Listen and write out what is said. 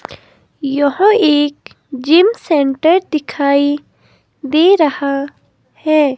यहां एक gym centre दिखाई दे रहा है।